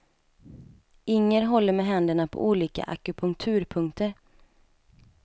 Inger håller med händerna på olika akupunkturpunkter.